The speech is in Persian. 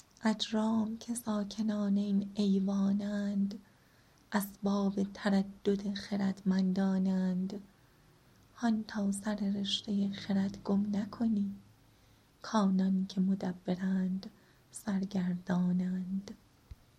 اجرام که ساکنان این ایوان اند اسباب تردد خردمندان اند هان تا سر رشته خرد گم نکنی کانان که مدبرند سرگردان اند